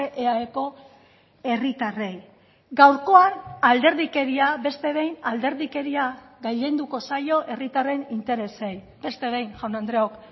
eaeko herritarrei gaurkoan alderdikeria beste behin alderdikeria gailenduko zaio herritarren interesei beste behin jaun andreok